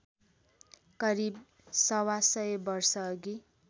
करिब सवासय वर्षअघि